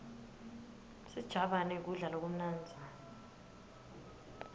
sijabane kudla lokumnandzi